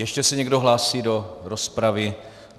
Ještě se někdo hlásí do rozpravy?